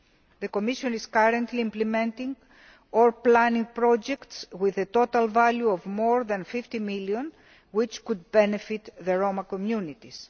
The Commission is currently implementing or planning projects with a total value of more than EUR 50 million that could benefit the Roma communities.